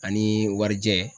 Ani warijɛ